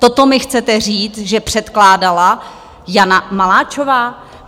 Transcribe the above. Toto mi chcete říct, že předkládala Jana Maláčová?